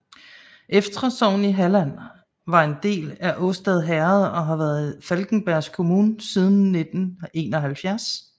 Eftra sogn i Halland var en del af Årstad herred og har været en del af Falkenbergs kommun siden 1971